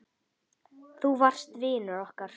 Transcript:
Þú varst vinur okkar.